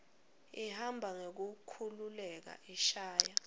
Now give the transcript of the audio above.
ihamba ngekukhululeka ishaya